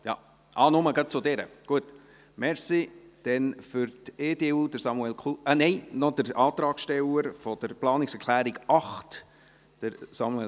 Ach so, Sie haben lediglich zu dieser Planungserklärung gesprochen.